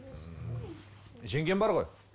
ммм жеңгем бар ғой